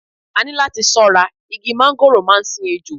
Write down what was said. A ní láti ṣọ́ra, igi mángóròò máa ń sin ejò.